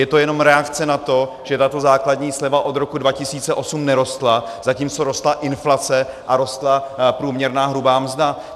Je to jenom reakce na to, že tato základní sleva od roku 2008 nerostla, zatímco rostla inflace a rostla průměrná hrubá mzda.